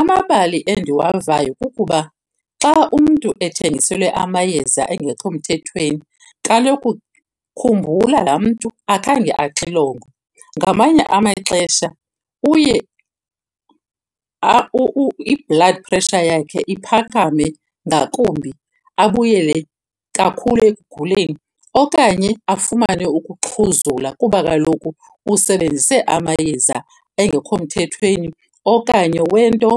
Amabali endiwavayo kukuba xa umntu ethengiselwe amayeza engekho mthethweni, kaloku khumbula laa mntu akhange axilongwe. Ngamanye amaxesha uye i-blood pressure yakhe iphakame ngakumbi abuyele kakhulu ekuguleni. Okanye afumane ukuxhuzula kuba kaloku usebenzise amayeza engekho mthethweni okanye wento